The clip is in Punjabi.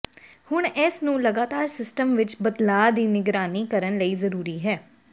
ਹੁਣ ਇਸ ਨੂੰ ਲਗਾਤਾਰ ਸਿਸਟਮ ਵਿੱਚ ਬਦਲਾਅ ਦੀ ਨਿਗਰਾਨੀ ਕਰਨ ਲਈ ਜ਼ਰੂਰੀ ਹੈ